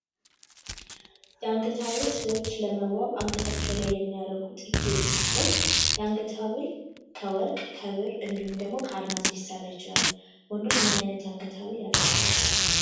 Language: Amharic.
የአንገት ሀብል ሰዎች ለመዋታቸው ላይ የሚያደርጉት ጌጥ ሲሆን የአንገት ሀብል ከወርቅ፣ ከብር እንዲሁም ደግሞ ከአልማዝ ሊሰራ ይችላል። ወንዶች ምን አይነት የአንገት ሀብል ያደርጋሉ?